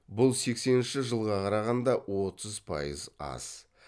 бұл сескенінші жылға қарағанда отыз пайыз аз